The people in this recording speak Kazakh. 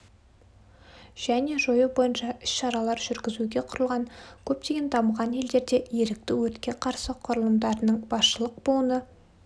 және жою бойынша іс-шаралар жүргізуге құрылған көптеген дамыған елдерде ерікті өртке қарсы құрылымдарының басшылық буыны